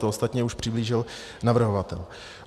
To ostatně už přiblížil navrhovatel.